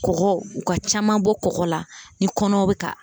Kɔgɔ u ka caman bɔ kɔgɔ la ni kɔnɔw be ka